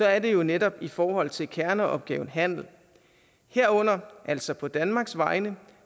er det jo netop i forhold til kerneopgaven handel herunder altså på danmarks vegne